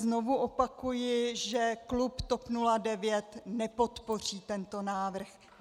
Znovu opakuji, že klub TOP 09 nepodpoří tento návrh.